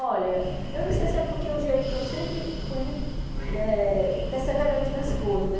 Olha, eu não sei se é porque o jeito que eu sempre fui muito eh perseverante nas coisas.